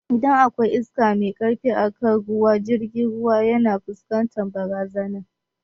Idan akwai iska mai karfi akan ruwa jirgin ruwa yana fuskantar barazana